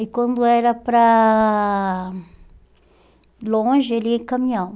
E quando era para longe, ele ia em caminhão.